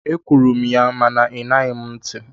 Ekwuru m ya mana ị ṅaghị m ntị.